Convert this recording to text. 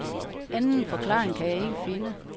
Anden forklaring kan jeg ikke finde.